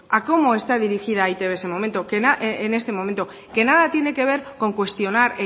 a cómo está dirigida e i te be en ese momento que nada tiene que ver con cuestionar